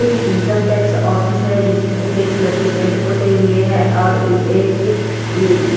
एक income tax office है जिसमें सफेद कलर के पेंट पोते हुए है और एक--